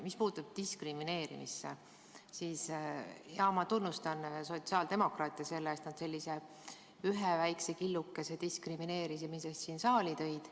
Mis puutub diskrimineerimisse, siis ma tunnustan sotsiaaldemokraate selle eest, et nad sellise ühe väikese killukese diskrimineerimisest siia saali tõid.